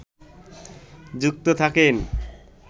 যুক্ত থাকেন